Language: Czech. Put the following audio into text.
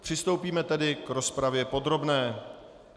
Přistoupíme tedy k rozpravě podrobné.